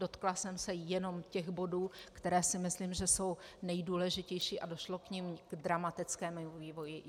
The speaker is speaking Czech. Dotkla jsem se jenom těch bodů, které si myslím, že jsou nejdůležitější a došlo v nich k dramatickému vývoji.